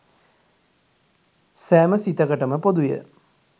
සෑම සිතකටම පොදුය.